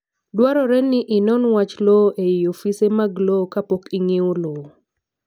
Dwarore ni inon wach lowo ei ofise mag lowo kapok ing'iewo lowo.